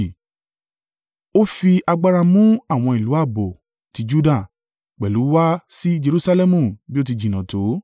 Ó fi agbára mú àwọn ìlú ààbò ti Juda, pẹ̀lú wá sí Jerusalẹmu bí ó ti jìnnà tó.